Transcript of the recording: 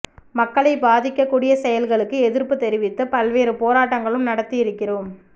மக்களை பாதிக்கக்கூடிய செயல்களுக்கு எதிர்ப்பு தெரிவித்து பல்வேறு போராட்டங்களும் நடத்தி இருக்கிறோம்